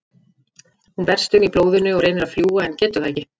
Hún berst um í blóðinu og reynir að fljúga en getur það ekki.